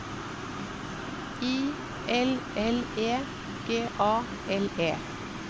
I L L E G A L E